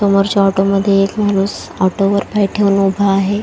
समोरच्या ऑटो मध्ये एक माणूस ऑटो वर पाय ठेऊन उभा आहे.